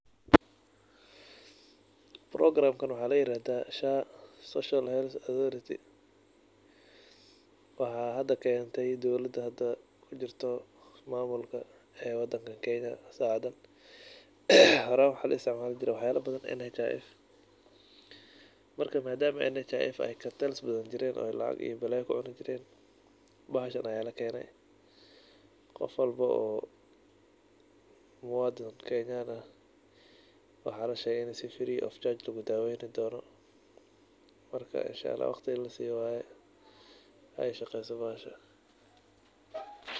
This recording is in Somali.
Programkan waxaa layirahdaa SHA, Social Health Autrhority waxaa hada keentay dowlada hada kujirto ismaamulkan ee wadankan Kenya. Horaan waxaa laistimaali jiray waxyaaba badan NHIF Marka maadaamaa ay NHIF cartels badan jireen ay lacag iyo balaaya kucuni jireen bahashaan ayaa lakene. Qof walbo oo muadan kenyaan ah waxaa lashegay ini si free of charge lagu daaweyn doono, marka inshaallah waqti ini lasiiyo waaye ay shaqeyso bahashaa.